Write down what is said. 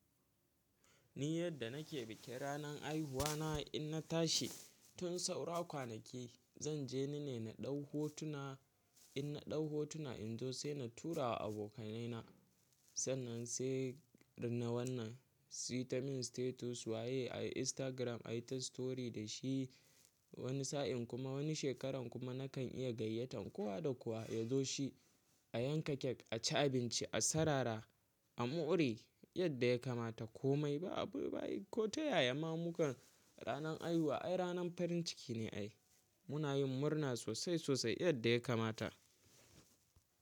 Ni yadda nake bikin ranan haihuwa na in na tashi tun saura kwanaki. Zan je nene na ɗau hotuna, in na ɗau hotuna in zo sai na tura wa abokanai na sannan sai na wannan sitamin sitetus waye ai Instagram ai ta story da shi wani sa'in kuma wani shekaran kuma na kan iya gayyatan kowa da kowa ya zo shi a yanka kek, a ci abinci, a sarara, a more yadda ya kamata. Komai ba abu bayi ko ta yaya ma mukan ranan haihuwa ai ranan farin ciki ne ai. Muna yin murna sosai sosai yadda ya kamata.